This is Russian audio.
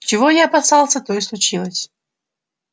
чего я опасался то и случилось